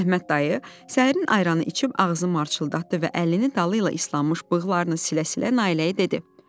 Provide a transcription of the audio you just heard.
Əhməd dayı səhərin ayranı içib ağzını marçıldatdı və əlini dalı ilə islanmış bığlarını silə-silə Nailəyə dedi: